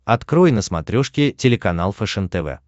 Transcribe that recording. открой на смотрешке телеканал фэшен тв